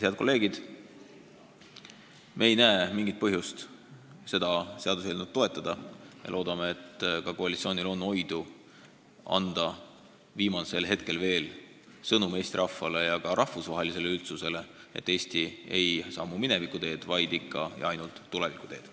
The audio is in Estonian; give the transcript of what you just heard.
Head kolleegid, me ei näe mingit põhjust seda seaduseelnõu toetada ja loodame, et ka koalitsioonil on oidu anda viimasel hetkel Eesti rahvale ja ka rahvusvahelisele üldsusele sõnum, et Eesti ei sammu mineviku teed, vaid ikka ja ainult tuleviku teed.